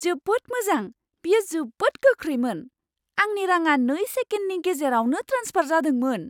जोबोद मोजां। बेयो जोबोद गोख्रैमोन। आंनि रांङा नै सेकेन्डनि गेजेरावनो ट्रेन्सफार जादोंमोन!